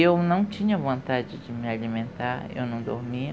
Eu não tinha vontade de me alimentar, eu não dormia.